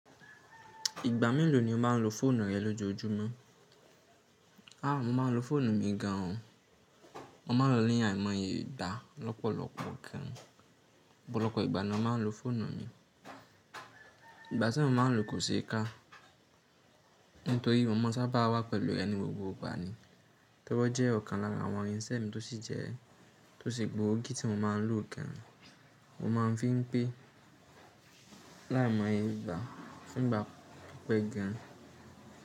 Ìgbà mélòó ni o máa ń lo fóònù rẹ lójoojúmọ́? A, mo máa ń lo fóònù mi gan an o. Mo ma ń lọ ní àìmọye ìgbà lọ́pọ̀lọpọ̀ gan an. Ọ̀pọ̀lọpọ̀ ìgbà ni màá ń lo fóònù mi. Ìgbà ti mo maa nlo kò se ka. Nítorí mo ma sa a bá wà pẹ̀lú rẹ̀ ní gbogbo ìgbà ni. Tori o je ọ̀kan lára àwọn irinṣẹ́ mi tó sì jẹ́ tó sì gbòógì tí mo máa ń lò gan an. Mo máa ń fi pé láìmọye ìgbà ti n bà pe gan.